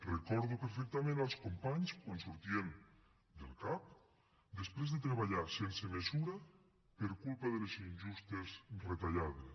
recordo perfectament els companys quan sortien del cap després de treballar sense mesura per culpa de les injustes retallades